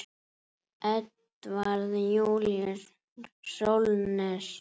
Edvarð Júlíus Sólnes.